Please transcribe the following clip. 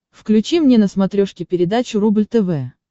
включи мне на смотрешке передачу рубль тв